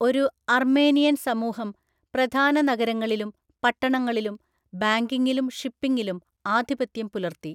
ഒരു അർമേനിയൻ സമൂഹം പ്രധാന നഗരങ്ങളിലും പട്ടണങ്ങളിലും ബാങ്കിംഗിലും ഷിപ്പിംഗിലും ആധിപത്യം പുലർത്തി.